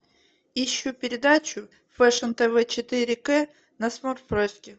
ищу передачу фэшн тв четыре к на смотрешке